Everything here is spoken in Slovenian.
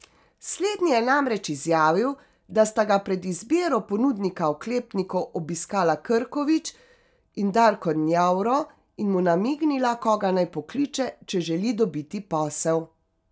Slednji je namreč izjavil, da sta ga pred izbiro ponudnika oklepnikov obiskala Krkovič in Darko Njavro in mu namignila, koga naj pokliče, če želi dobiti posel.